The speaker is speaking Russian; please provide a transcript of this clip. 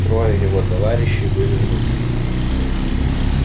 трое его товарищей были внутри